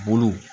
Bolow